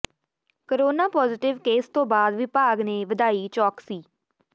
corona positive case ਤੋਂ ਬਾਅਦ ਵਿਭਾਗ ਨੇ ਵਧਾਈ ਚੌਕਸੀ